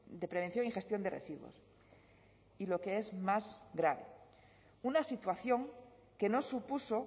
de prevención y gestión de residuos y lo que es más grave una situación que no supuso